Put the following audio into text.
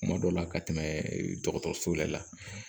Kuma dɔ la ka tɛmɛ dɔgɔtɔrɔso la